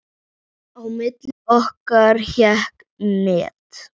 Á milli okkar hékk net.